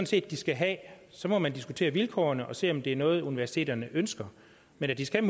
set de skal have så må man diskutere vilkårene og se om det er noget universiteterne ønsker men at de skal